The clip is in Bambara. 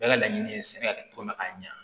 Bɛɛ ka laɲini ye sɛbɛ tɔ ma a ɲɛ